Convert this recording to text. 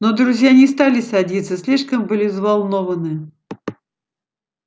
но друзья не стали садиться слишком были взволнованны